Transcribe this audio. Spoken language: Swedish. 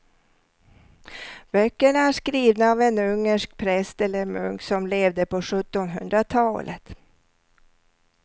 Böckerna är skrivna av en ungersk präst eller munk som levde på sjuttonhundratalet.